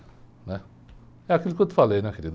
Né? É aquilo que eu te falei, né, querido.